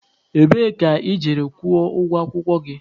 Ebee ka ị jere kwụọ ụgwọ akwụkwọ gị?